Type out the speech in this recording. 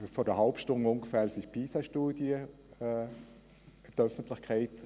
Diese wurde etwa vor einer halben Stunde veröffentlicht.